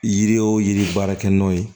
Yiri o yiri baarakɛ ɲɔn ye